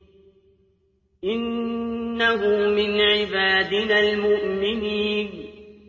إِنَّهُ مِنْ عِبَادِنَا الْمُؤْمِنِينَ